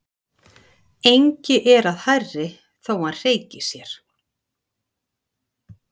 Engi er að hærri þó hann hreyki sér.